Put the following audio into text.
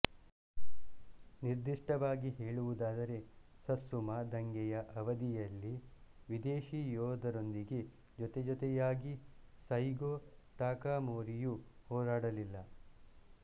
ನಿರ್ದಿಷ್ಟವಾಗಿ ಹೇಳುವುದಾದರೆ ಸತ್ಸುಮಾ ದಂಗೆಯ ಅವಧಿಯಲ್ಲಿ ವಿದೇಶಿ ಯೋಧರೊಂದಿಗೆ ಜೊತೆಜೊತೆಯಾಗಿ ಸೈಗೋ ಟಕಾಮೊರಿಯು ಹೋರಾಡಲಿಲ್ಲ